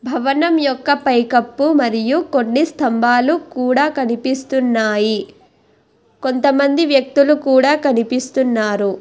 భవనం యొక్క పైకప్పు మరియు కొన్ని స్తంభాలు కూడా కనిపిస్తున్నాయి కొంతమంది వ్యక్తులు కూడా కనిపిస్తున్నారు.